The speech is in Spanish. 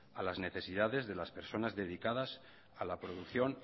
a las necesidades de las personas dedicadas a la producción